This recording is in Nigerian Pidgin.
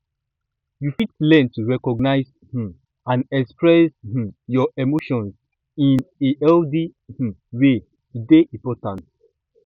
you fit learn to recognize um and express um your emotions in a healthy um way e dey important